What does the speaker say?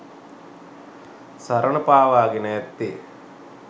සරණ පාවාගෙන ඇත්තේ